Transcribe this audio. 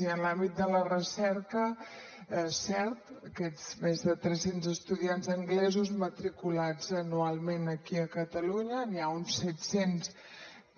i en l’àmbit de la recerca és cert aquests més de tres cents estudiants anglesos matriculats anualment aquí a catalunya n’hi ha uns set cents